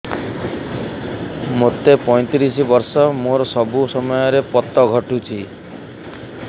ମୋତେ ପଇଂତିରିଶ ବର୍ଷ ମୋର ସବୁ ସମୟରେ ପତ ଘଟୁଛି